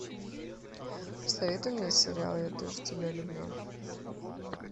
посоветуй мне сериал я тоже тебя люблю